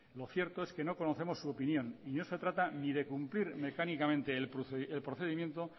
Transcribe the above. lo cierto es que no conocemos su opinión y no se trata ni de cumplir mecánicamente el procedimiento